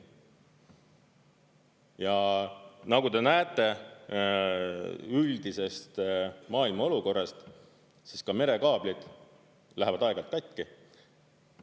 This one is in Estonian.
Ja nagu te näete üldisest maailma olukorrast, siis ka merekaablid lähevad aeg-ajalt katki.